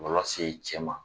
Maloya se i cɛ ma.